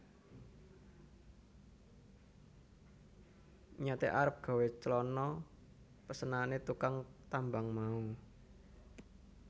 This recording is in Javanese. Niyate arep gawé clana pesenane tukang tambang mau